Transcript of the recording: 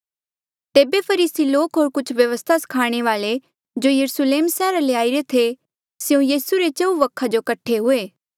तेबे फरीसी लोक होर कुछ व्यवस्था स्खाणे वाल्ऐ जो यरुस्लेम सैहरा ले आईरे थे स्यों यीसू रे चहुँ वखा जो कठे हुए